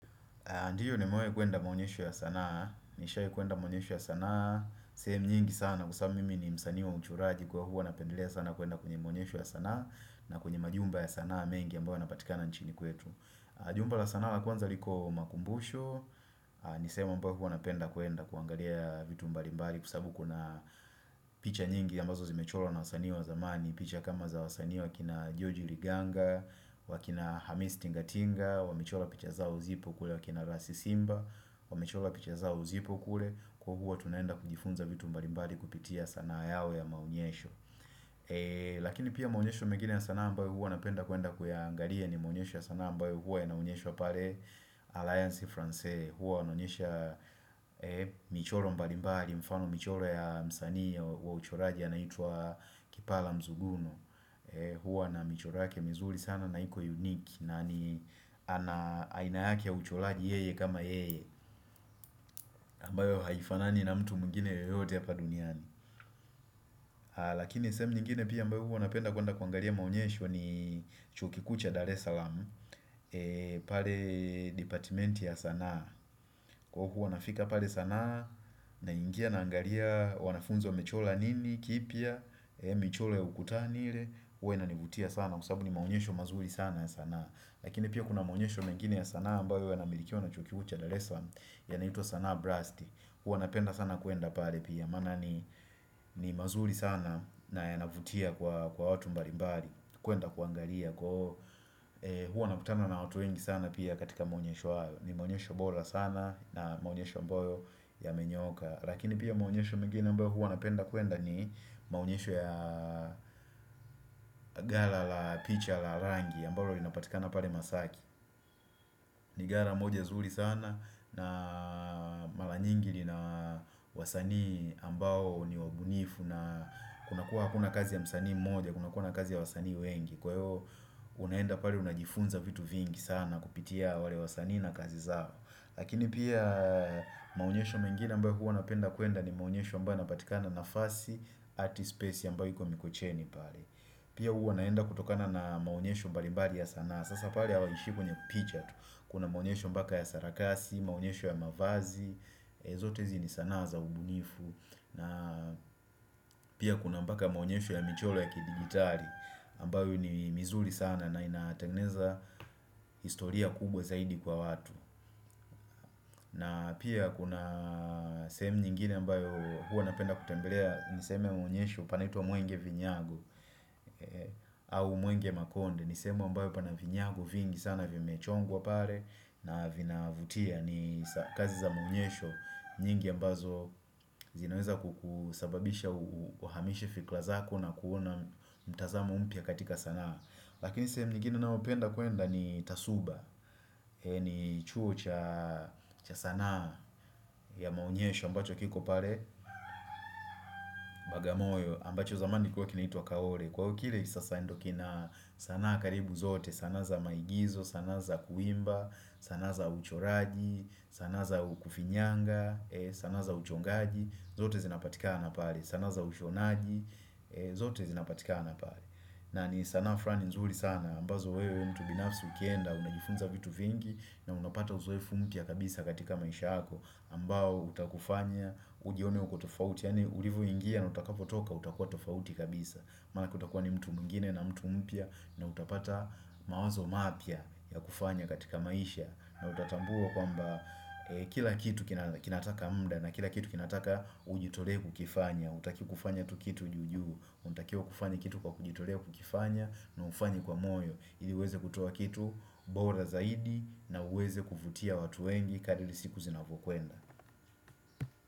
Ndiyo nimewai kuenda maonyesho ya sanaa, nishai kuenda maonyesho ya sanaa, sehemu nyingi sana, kwa sababu mimi ni msanii wa uchoraji kwa hivo napendelea sanaa kuenda kwenye maonyesho ya sanaa na kwenye majumba ya sanaa mengi ambayo yanapatikana nchini kwetu Jumba la sanaa la kwanza liko makumbusho, ni sehemu ambayo huwa napenda kuenda kuangalia vitu mbalimbali kwa sababu kuna picha nyingi ambazo zimechorwa na wasanii wa zamani ni picha kama za wasanii wakina Joji Riganga, wakina Hamis Tingatinga, wamechora picha za zipo kule wakina Rasi Simba, wamechora picha zao zipo kule. Kwa huo tunaenda kujifunza vitu mbalimbali kupitia sanaa yao ya maonyesho. Lakini pia maonyesho mengine ya sanaa ambao huwa napenda kuenda kuyaangalia ni maunyesho ya sanaa ambayoo huwa ya naunyeshwa pale Alliance Francaise. Huwa wanaonyesha michoro mbalimbali, mfano michoro ya msani wa uchoraji anaitwa Kipala Mzuguno huwa na michoro ya ke mizuri sana naiko unique nani aina yake ya uchoraji yeye kama yeye ambayo haifanani na mtu mwingine yeyote apa duniani Lakini sehemu nyingine pia ambao huwa napenda kuenda kuangalia maonyesho ni chuo kikuu cha Dar es Salaam pale departementi ya sanaa Kwa huku wanafika pale sanaa na ingia na angalia wanafunzi wamechora nini, kipya michoro ya ukutani ile huwa inanivutia sana Kwa sababu ni maonyesho mazuri sana ya sanaa Lakini pia kuna maonyesho mengine ya sanaa ambayo yana milikia na chuo kikuu cha Darel Salaam Yanaitwa sanaa brasti huwa na penda sana kuenda pale pia Mana ni mazuri sana na yanavutia kwa watu mbalimbali kuenda kuangalia kwa huwa nakutana na watu wengi sana Pia katika maonyesho hali ni maunyesho bora sana na maonyesho ambayo yamenyooka Lakini pia maonyesho mengine ambayo huo napenda kuenda ni maonyesho ya gala la picha la rangi ambalo linapatika na pale masaki ni gala moja zuri sana na mara nyingi lina wasanii ambayo ni wabunifu na kuna kua kuna kazi ya msanii moja kuna kazi ya wasanii wengi Kwa hio unaenda pale unajifunza vitu vingi sana kupitia wale wasanii na kazi zao Lakini pia maonyesho mengine ambao huo napenda kuenda ni maonyesho ambao yanapatikana na fasi ati space ambyo iko mikocheni pale Pia huo naenda kutokana na maonyesho mbalibali ya sanaa Sasa pale hawaheshimu ni picha tu Kuna maonyesho mbaka ya sarakasi, maonyesho ya mavazi zote hizi ni sanaa za ubunifu na Pia kuna mbaka maonyesho ya michoro ya kidigitari ambayo ni mizuri sana na inatengeneza historia kubwa zaidi kwa watu na pia kuna sehemu nyingine ambayo huwa napenda kutembelea niseme maonyesho panaitwa muenge vinyago au muenge makonde Nisehemu ambayo pana vinyago vingi sana vimechongwa pale na vinavutia ni kazi za maonyesho nyingi ambazo zinaweza kukusababisha uhamishe fikra zako na kuona mtazamo mpya katika sanaa Lakini sehemu nyingine ninaopenda kuenda ni tasuba ni chuo cha cha sanaa ya maonyesho ambacho kiko pale Bagamoyo ambacho zamani kwa kinaitwa Kaore Kwa ukile sasa ndokina sanaa karibu zote sanaa za maigizo, sanaa za kuimba, sanaa za uchoraji sanaa za kufinyanga, sanaa za uchongaji zote zinapatika na pale, sanaa za ushonaji zote zinapatika na pale na ni sanaa fulani nzuri sana ambazo wewe mtubinafsi ukienda, unajifunza vitu vingi na unapata uzoefu mpya kabisa katika maisha yako ambao utakufanya ujione uko tofauti Yaani ulivyo ingia na utakapotoka utakuwa tofauti kabisa Manake ukutakuwa ni mtu mwngine na mtu mpya na utapata mawazo mapya ya kufanya katika maisha na utatambua kwamba kila kitu kinataka muda na kila kitu kinataka ujitolee kukifanya Utaki kufanya tu kitu juujuu Unatakiwa kufanya kitu kwa kujitolea kukifanya na ufanye kwa moyo Hili uweze kutuwa kitu, bora zaidi na uweze kuvutia watu wengi kadili siku zinapokuenda.